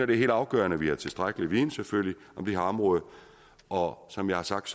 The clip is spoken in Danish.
det er helt afgørende at vi har tilstrækkelig viden selvfølgelig om det her område og som jeg har sagt